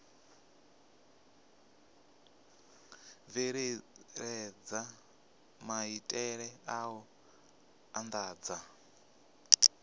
bveledza maitele a u andadza